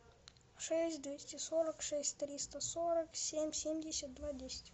шесть двести сорок шесть триста сорок семь семьдесят два десять